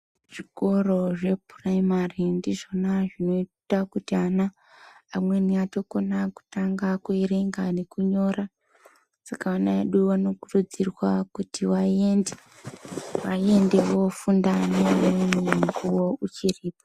Zviko zve prayimari ndizvona zvinoita kuti ana amweni atokona kuyerenga nokunyora . Saka ana edu anokurudzirwa kuti vayende vofunda mukuwa uchiripo.